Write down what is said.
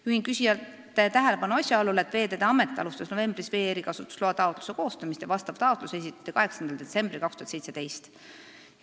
Juhin küsijate tähelepanu asjaolule, et Veeteede Amet alustas novembris vee erikasutusloa taotluse koostamist ja vastav taotlus esitati 8. detsembril 2017.